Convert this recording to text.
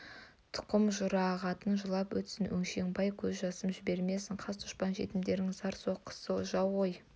тұқым жүрағатың жылап өтсін өңшең бай көз жасым жібермесін қас-дұшпан жетімдердің зары соқсын жау ғой